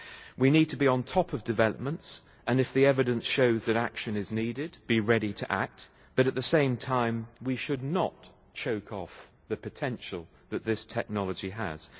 We need to be on top of developments, and if the evidence shows that action is needed, be ready to act, but at the same time, we should not choke off the potential that this technology has.